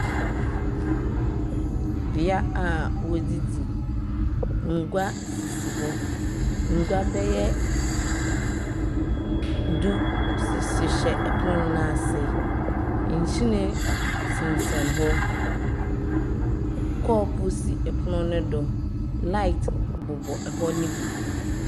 Bea a wɔdidi ngua sisi hɔ ngua bɛ yɛ du sisi shɛ ɛpunu n'ase ntsinɛ sinsɛn hɔ kɔp si ɛpunu ni du light bubɔ ɛhɔ ni bi.